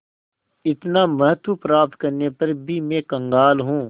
इतना महत्व प्राप्त करने पर भी मैं कंगाल हूँ